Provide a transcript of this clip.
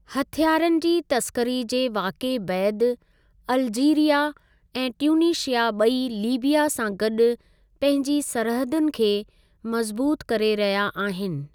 हथियारनि जी तस्करी जे वाक़ये बैदि, अल्जीरिया ऐं ट्यूनीशिया ॿई लीबिया सां गॾु पंहिंजी सरहदुनि खे मज़बूत करे रहिया आहिनि।